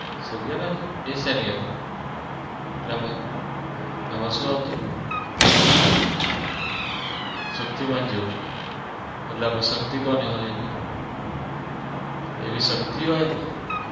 Serial હતી? એ સેની હતી એમાં એમાં સુ આવતું? શક્તિમાન જેવું એટલે એમાં શક્તિ એવી શક્તિ હોય એમાં?